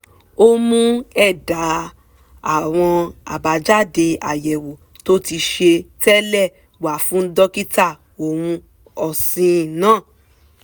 ó mú ẹ̀dà àwọn àbájáde àyẹ̀wò tó ti ṣe tẹ́lẹ̀ wá fún dókítà ohun ọ̀sìn náà